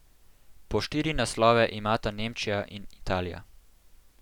Po štiri naslove imata Nemčija in Italija.